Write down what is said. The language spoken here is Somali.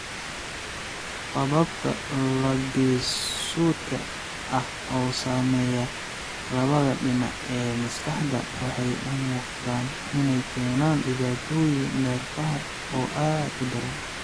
Qaababka laba geesoodka ah (oo saameeya labada dhinac ee maskaxda) waxay u muuqdaan inay keenaan dhibaatooyin neerfaha oo aad u daran.